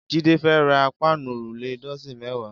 Jide fè rá páànú órúlé dọ̀sín mẹ̀wá